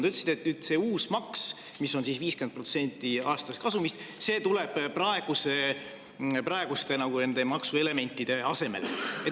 Te ütlesite, et see uus maks, mis on 50% aastasest kasumist, tuleb praeguste maksuelementide asemele.